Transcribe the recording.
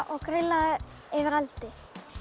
og grillað það yfir eldi